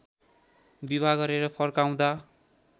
विवाह गरेर फर्काउँदा